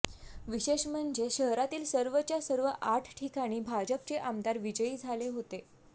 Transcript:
विशेष म्हणजे शहरातील सर्वच्या सर्व आठ ठिकाणी भाजपचे आमदार विजयी झाले होते